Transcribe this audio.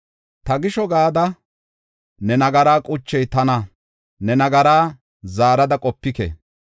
“Ta gisho gada ne nagaraa quchey tana; ne nagaraa zaarada qopike.